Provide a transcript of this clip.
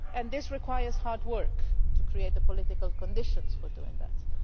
It requires hard work to create the political conditions for doing this.